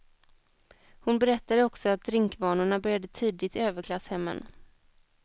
Hon berättade också att drinkvanorna börjar tidigt i överklasshemmen.